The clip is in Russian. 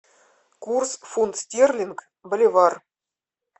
курс фунт стерлинг боливар